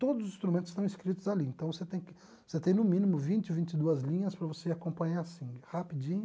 Todos os instrumentos estão escritos ali, então você tem tem você no mínimo vinte ou vinte e duas linhas para você acompanhar assim, rapidinho.